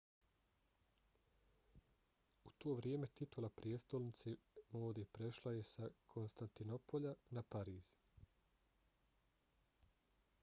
u to vrijeme titula prijestolnice mode prešla je sa konstantinopolja na pariz